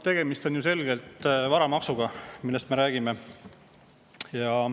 Tegemist on ju selgelt varamaksuga, sellest me räägime.